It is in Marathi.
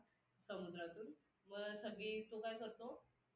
यामध्ये कलम दोनशे एकोण दोनशे एकांशी नुसार या शिफारशीच्या सर्व सहभाग असतो.